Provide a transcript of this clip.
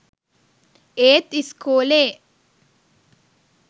ඒත් ඉස්කෝලේ